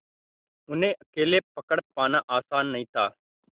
उन्हें अकेले पकड़ पाना आसान नहीं था